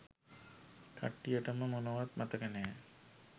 කට්ටියටම මොනවත් මතක නෑ